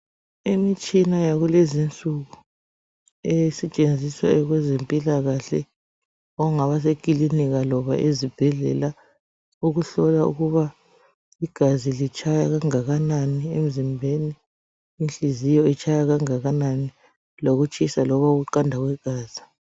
Imitshina yakulezinsuku, esetshenziswa kwezempilakahle okungaba sekilinika loba ezibhedlela ukuhlola ukuba igazi litshaya kangakanani emzimbeni ,inhliziyo itshaya kangakanani lokutshisa loba ukuqanda kwegazi.